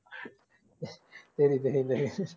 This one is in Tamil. தெரியும் தெரியும் தெரியும்